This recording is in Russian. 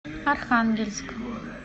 архангельск